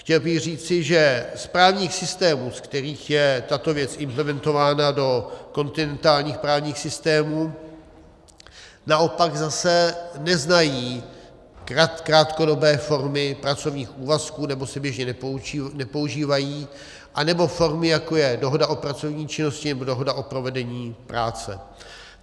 Chtěl bych říci, že z právních systémů, z kterých je tato věc implementována do kontinentálních právních systémů, naopak zase neznají krátkodobé formy pracovních úvazků, nebo se běžně nepoužívají, anebo formy, jako je dohoda o pracovní činnosti nebo dohoda o provedení práce.